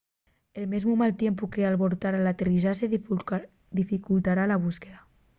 el mesmu mal tiempu qu’albortara l’aterrizaxe dificultara la búsqueda